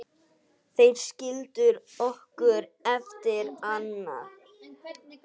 Þeir skildu okkur eftir einar.